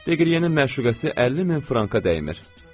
Deqriyenin məşuqəsi 50 min franka dəymir.